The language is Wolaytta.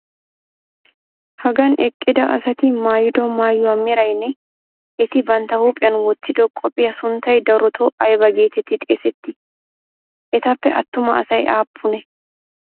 Hagan eqqida asati maayido maayuwa meraynne eti bantta huuphphiyan wottido qophiya sunttay darotoo ayba geetettidi xeesettii? Etappe attuma asay aappunee?